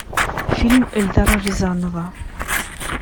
фильм эльдара рязанова